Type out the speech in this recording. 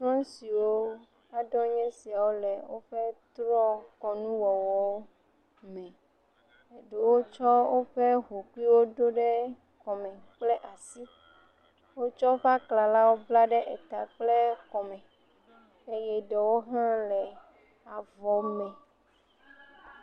Trɔ̃siwo aɖewoe nye sia le woƒe trɔ̃ kɔnuwɔwɔwo me. Ɖewo tsɔ woƒe hũhɔewo ɖo ɖe woƒe kɔme kple asi. Wotsɔ woƒe aklala bla eta kple kɔme eye ɖewo hã le avɔ me.